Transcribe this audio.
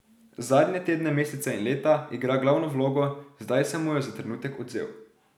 Zadnje tedne, mesece in leta igra glavno vlogo, zdaj sem mu jo za trenutek odvzel.